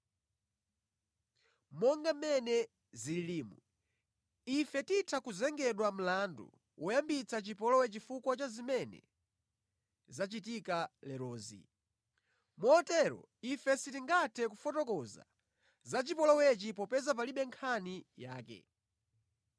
Monga mmene zililimu, ife titha kuzengedwa mlandu woyambitsa chipolowe chifukwa cha zimene zachitika lerozi. Motero ife sitingathe kufotokoza za chipolowechi popeza palibe nkhani yake.”